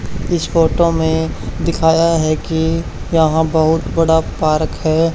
इस फोटो में दिखाया है कि यहां बहुत बड़ा पार्क है।